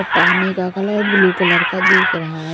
पानी का colour blue colour का दिख रहा है।